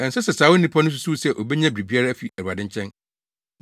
Ɛnsɛ sɛ saa onipa no susuw sɛ obenya biribiara afi Awurade nkyɛn;